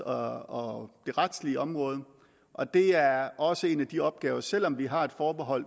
og og retslige område og det er også en af de opgaver selv om vi har et forbehold